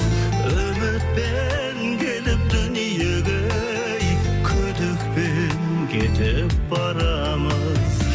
үмітпен келіп дүниеге ей күдікпен кетіп барамыз